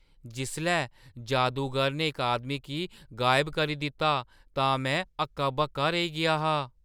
जिसलै जादूगर ने इक आदमी गी गायब करी दित्ता तां में हक्का-बक्का रेही गेआ हा!